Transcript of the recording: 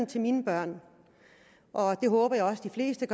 til mine børn og det håber jeg også de fleste